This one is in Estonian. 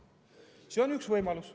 See on üks võimalus.